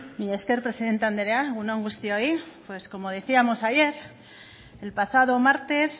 mila esker presidente anderea egun on guztioi como decíamos ayer el pasado martes